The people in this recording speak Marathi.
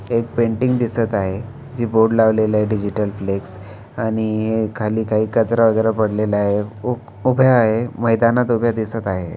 एक पेंटिंग दिसत आहे. जी बोर्ड लावलेली आहे डिजिटल फ्लेक्स आणि खाली काही कचरा वगैरे पडलेला आहे उ उभ्या आहे मैदानात उभ्या दिसत आहे.